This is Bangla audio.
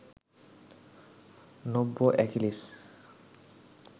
নব্য অ্যাকিলিস